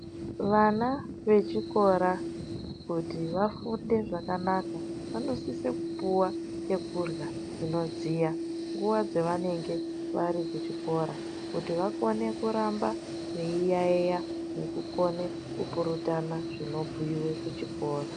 Vana vechikora ikora kuti vafunde zvakanaka vanosise kupuwa chokurya chinodziya nguwa dzavanenge vari kuchikora kuti vakone kuramba veiyaiya nekupurutana zvinobhuiwe kuchikora.